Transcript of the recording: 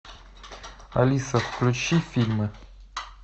алиса включи фильмы